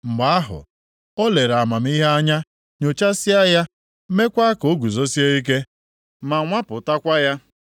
mgbe ahụ, o lere amamihe anya, nyochasịa ya, meekwa ka o guzosie ike, ma nwapụtakwa ya.